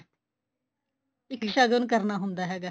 ਇੱਕ ਸ਼ਗਣ ਕਰਨਾ ਹੁੰਦਾ ਹੈਗਾ